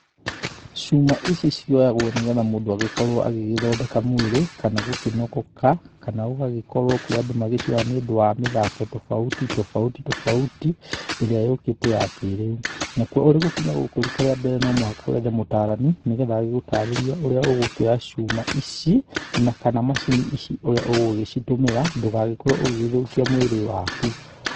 Cuma ici cioyagwo nĩ getha mũndũ agĩkorwo agĩgĩthondeka mwĩrĩ, kana gũkĩnogoka, kana ũgagĩkorwo kũrĩ andũ magĩcioyaga nĩ ũndũ wa mĩthako tofauti tofauti tofauti ĩrĩa yũkĩte ya kĩrĩu. Nakuo ũrĩ gũkinya gũkũ rita rĩa mbere no mũhaka wethe mũtarani nĩgetha agĩgũtarĩrie ũrĩa ũgũkĩoya cuma ici, na kana macini ici ũrĩa ũgũgĩcitũmĩra ndũgagĩkorwo ũgĩgĩthũkia mwĩrĩ waku.